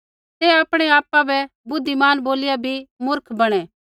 तै आपणै आपा बै बुद्धिमान बोलिया बी मुर्ख बणै